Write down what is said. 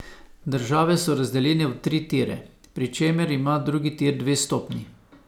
Države so razdeljene v tri tire, pri čemer ima drugi tir dve stopnji.